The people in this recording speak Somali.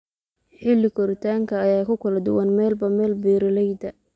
Xilli-koritaanka ayaa ku kala duwan meelba meel. Beeralayda